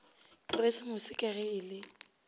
keresemose ka ge e le